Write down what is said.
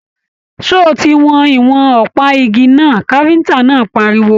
Ṣé o tí wọn ìwọ̀n ọpa ìgi náà! káfíntà náà páríwó.